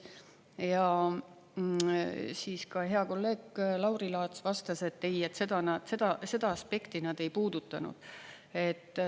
Ja siis ka hea kolleeg Lauri Laats vastas, et ei, seda aspekti nad ei puudutanud.